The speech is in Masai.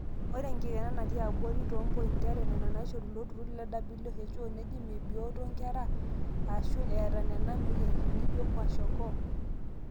ore enkikena naatii abori toompointi are nena naaishoru ilo turru le who neji meebioto enkerai aashu eeta nena mweyiaritin nijo kwashiakoo